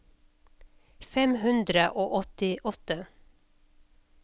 fem hundre og åttiåtte